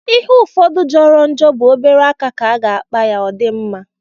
Ihe ụfọdụ jọrọ njọ bụ obere aka ka a ga-akpa ya o di mma.